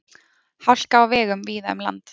Hálka á vegum víða um land